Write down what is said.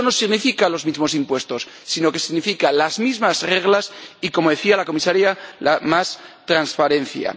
Eso no significa los mismos impuestos, sino que significa las mismas reglas y, como decía la Comisaria, más transparencia.